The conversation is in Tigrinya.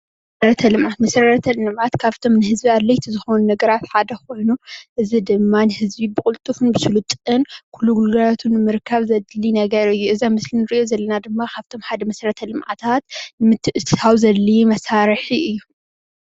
መሰረተ ልምዓት መሰረተ ልምዓት ካብቶም ንህዝቢ ኣድለይቲ ዝኾኑ ነገራት ሓደ ኾይኑ እዚ ድማ ንህዝቢ ብቁልጡፍን ብሱልጥን ኹሉ ነገር ንምርካብ ዘድሊ ነገር እዩ። እዚ ኣብ ምስሊ እንሪኦ ዘለና ድማ ካብቶም ሓደ መሰረተ ልምዓታት ንምትእትታው ዘድሊ መሳሪሒ እዩ።